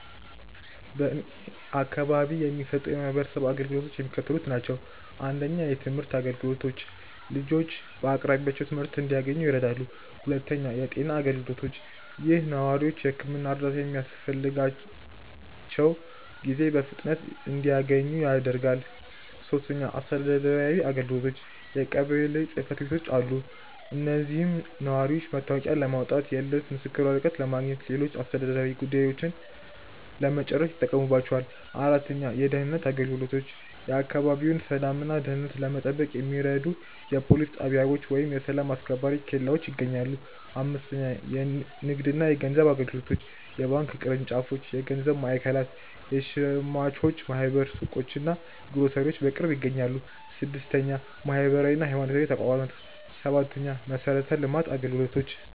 በእኔ አካባቢ የሚሰጡ የማህበረሰብ አገልግሎቶች የሚከተሉት ናቸው:- 1. የትምህርት አገልግሎቶች፦ ልጆች በአቅራቢያቸው ትምህርት እንዲያንኙ ይረዳሉ። 2. የጤና አገልግሎቶች፦ ይህ ነዋሪዎች የሕክምና እርዳታ በሚያስፈልጋቸው ጊዜ በፍጥነት እንዲያገኙ ያደርጋል። 3. አስተዳደራዊ አገልግሎቶች፦ የቀበሌ ጽሕፈት ቤቶች አሉ። እዚህም ነዋሪዎች መታወቂያ ለማውጣት፣ የልደት ምስክር ወረቀት ለማግኘትና ሌሎች አስተዳደራዊ ጉዳዮችን ለመጨረስ ይጠቀሙባቸዋል። 4. የደህንነት አገልግሎቶች፦ የአካባቢውን ሰላምና ደህንነት ለመጠበቅ የሚረዱ የፖሊስ ጣቢያዎች ወይም የሰላም አስከባሪ ኬላዎች ይገኛሉ። 5. የንግድና የገንዘብ አገልግሎቶች፦ የባንክ ቅርንጫፎች፣ የገበያ ማዕከላት፣ የሸማቾች ማኅበር ሱቆችና ግሮሰሪዎች በቅርብ ይገኛሉ። 6. ማህበራዊና ሃይማኖታዊ ተቋማት፦ 7. የመሠረተ ልማት አገልግሎቶች